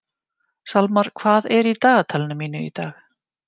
Salmar, hvað er í dagatalinu mínu í dag?